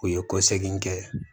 U ye kɔsegin kɛ